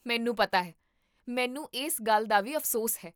ਮੈਨੂੰ ਪਤਾ ਹੈ! ਮੈਨੂੰ ਇਸ ਗੱਲ ਦਾ ਵੀ ਅਫ਼ਸੋਸ ਹੈ